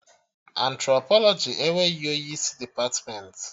Antropolọjị enweghị onye isi depatmentị